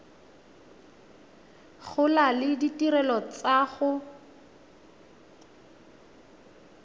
gola le ditirelo tsa go